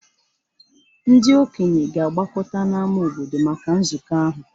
Ndị okenye ga-agbakọta n’ámá obodo maka nzukọ ahụ.